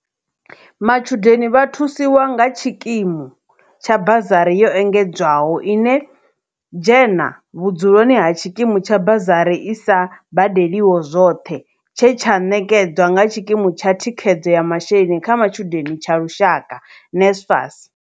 Matshudeni vha thusiwa nga khatshikimu tsha bazari yo engedzedzwaho ine dzhena vhudzuloni ha tshikimu tsha bazari i sa badeliho zwoṱhe tshe tsha ṋekedzwa nga tshikimu tsha thikhedzo ya masheleni kha matshudeni tsha lushaka, NSFAS.